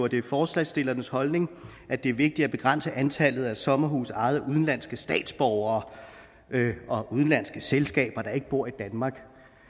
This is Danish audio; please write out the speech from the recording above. det er forslagsstillernes holdning at det er vigtigt at begrænse antallet af sommerhuse ejet af udenlandske statsborgere og udenlandske selskaber der ikke bor i danmark